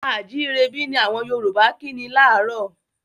A à jírebí! ni àwọn Yorùbá kí ni láárò.